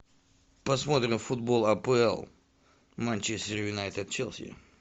посмотрим футбол апл манчестер юнайтед челси